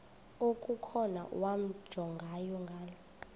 okukhona wamjongay ngaloo